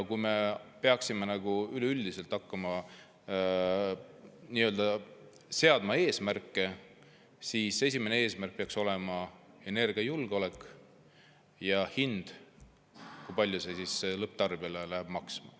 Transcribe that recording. Kui me peaksime hakkama üleüldiselt eesmärke seadma, siis esimene eesmärk peaks olema energiajulgeolek ja hind, see, kui palju see lõpptarbijale maksma läheb.